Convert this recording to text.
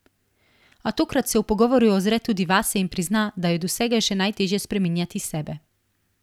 A tokrat se v pogovoru ozre tudi vase in prizna, da je od vsega še najteže spreminjati sebe.